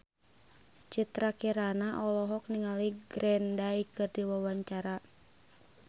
Citra Kirana olohok ningali Green Day keur diwawancara